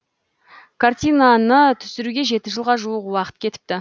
картинаны түсіруге жеті жылға жуық уақыт кетіпті